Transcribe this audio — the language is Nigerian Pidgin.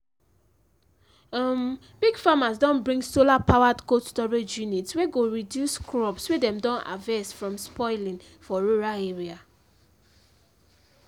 um big farmers don bring solar-powered cold storage unit wey go reduce crops wey dem don harvest from spoiling for rural area